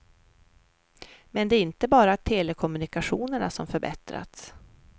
Men det är inte bara telekommunikationerna som förbättrats.